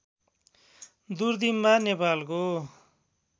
दुर्दिम्बा नेपालको